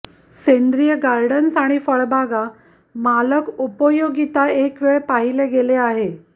सेंद्रीय गार्डन्स आणि फळबागा मालक उपयोगिता एक वेळ पाहिले गेले आहे